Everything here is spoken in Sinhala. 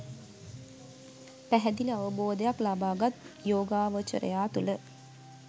පැහැදිලි අවබෝධයක් ලබාගත් යෝගාවචරයා තුළ